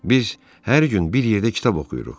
Biz hər gün bir yerdə kitab oxuyuruq.